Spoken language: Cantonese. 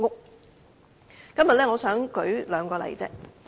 我今天只想舉出兩個例子。